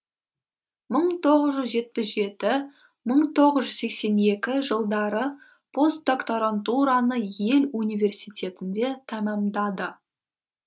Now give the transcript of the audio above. мың тоғыз жүз жетпіс жеті мың тоғыз жүз сексен екі жылдары постдокторантураны йель университетінде тәмамдады